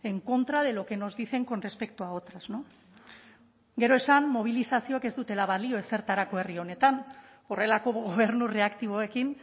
en contra de lo que nos dicen con respecto a otras gero esan mobilizazioek ez dutela balio ezertarako herri honetan horrelako gobernu reaktiboekin